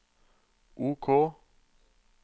OK